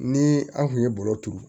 Ni an kun ye bɔrɔ turu